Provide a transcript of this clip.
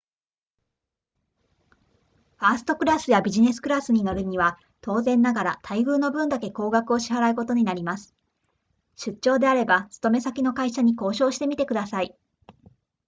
ファーストクラスやビジネスクラスに乗るには当然ながら待遇の分だけ高額を支払うことになります出張であれば勤め先の会社に交渉してみてください